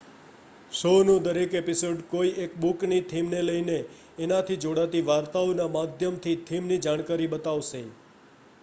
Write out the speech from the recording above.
show નો દરેક episode કોઈ એક બુક ની થીમ ને લઈને એના થી જોડાતી વાર્તાઓ ના માધ્યમ થી એ થીમ ની જાણકારી બતાવશે